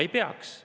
Ei peaks.